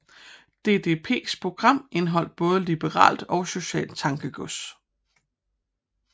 DDPs program indeholdt både liberalt og socialt tankegods